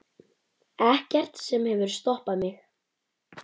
Ekkert sem hefur stoppað mig.